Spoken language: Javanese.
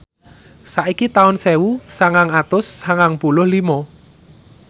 saiki taun sewu sangang atus sangang puluh lima